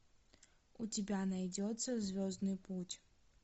у тебя найдется звездный путь